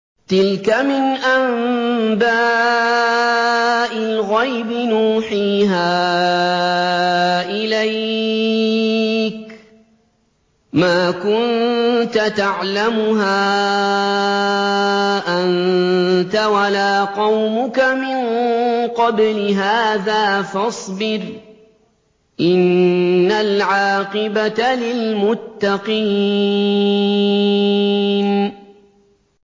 تِلْكَ مِنْ أَنبَاءِ الْغَيْبِ نُوحِيهَا إِلَيْكَ ۖ مَا كُنتَ تَعْلَمُهَا أَنتَ وَلَا قَوْمُكَ مِن قَبْلِ هَٰذَا ۖ فَاصْبِرْ ۖ إِنَّ الْعَاقِبَةَ لِلْمُتَّقِينَ